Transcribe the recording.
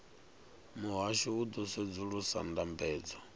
muhasho u ḓo sedzulusa ndambedzo